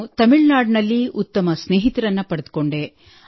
ನಾನು ತಮಿಳುನಾಡಿನಲ್ಲಿ ಉತ್ತಮ ಸ್ನೇಹಿತರನ್ನು ಪಡೆದುಕೊಂಡೆ